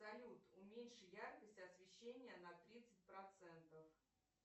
салют уменьши яркость освещения на тридцать процентов